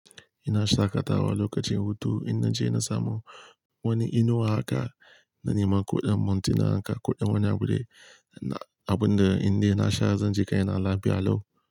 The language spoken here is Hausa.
Ina shaƙatawa lokacin hutu, inna je na samu wani inuwa haka, na nema kuɗin montina haka, kuɗin wani abu dai. Na, abun da indai na sha zan je kai na lafiya lau.